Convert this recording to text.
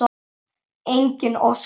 Enginn óskar þess.